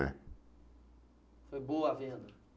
É. Foi boa a venda?